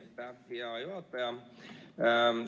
Aitäh, hea juhataja!